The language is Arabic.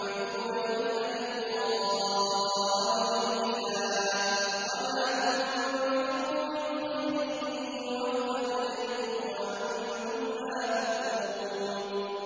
تُنفِقُونَ إِلَّا ابْتِغَاءَ وَجْهِ اللَّهِ ۚ وَمَا تُنفِقُوا مِنْ خَيْرٍ يُوَفَّ إِلَيْكُمْ وَأَنتُمْ لَا تُظْلَمُونَ